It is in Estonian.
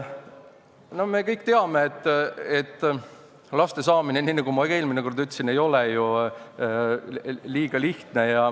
No me kõik teame, et laste saamine, nii nagu ma ka eelmine kord ütlesin, ei ole ju liiga lihtne.